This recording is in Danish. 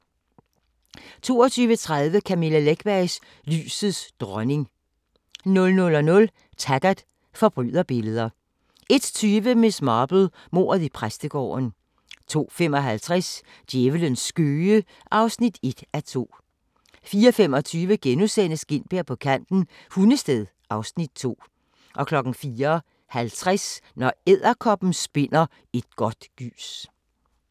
22:30: Camilla Läckbergs Lysets dronning 00:00: Taggart: Forbryderbilleder 01:20: Miss Marple: Mordet i præstegården 02:55: Djævlens skøge (1:2) 04:25: Gintberg på kanten – Hundested (Afs. 2)* 04:50: Når edderkoppen spinder et godt gys